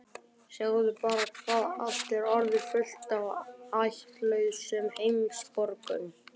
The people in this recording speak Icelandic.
Sjáðu bara hvað allt er orðið fullt af ættlausum heimsborgurum!